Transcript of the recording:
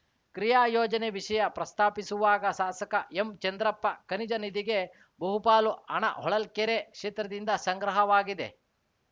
ಕ್ರಿಯಾಯೋಜನೆ ವಿಷಯ ಪ್ರಸ್ತಾಪಿಸುವಾಗ ಶಾಸಕ ಎಂಚಂದ್ರಪ್ಪ ಖನಿಜ ನಿಧಿಗೆ ಬಹುಪಾಲು ಹಣ ಹೊಳಲ್ಕೆರೆ ಕ್ಷೇತ್ರದಿಂದ ಸಂಗ್ರಹವಾಗಿದೆ